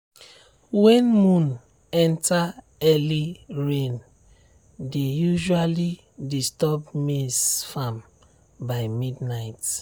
when moon enter early rain dey usually disturb maize farm by midnight.